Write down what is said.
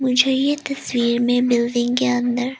मुझे ये तस्वीर में बिल्डिंग के अंदर--